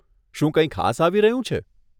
શું કંઈ ખાસ આવી રહ્યું છે?